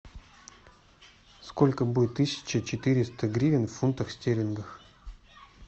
сколько будет тысяча четыреста гривен в фунтах стерлингах